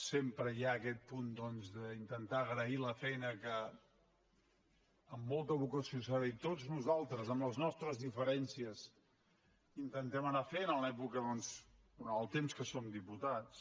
sempre hi ha aquest punt doncs d’intentar agrair la feina que amb molta vocació i s’ha dit tots nosaltres amb les nostres diferències intentem anar fent en l’època durant el temps que som diputats